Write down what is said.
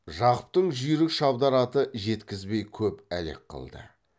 жақыптың жүйрік шабдар аты жеткізбей көп әлек қылды